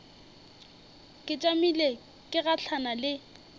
ke tšamile ke gahlana le